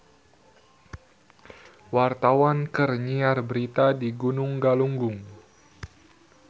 Wartawan keur nyiar berita di Gunung Galunggung